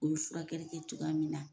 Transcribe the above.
U be furakɛli kɛ cogoya min na